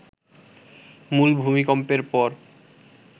মূল ভূমিকম্পের পর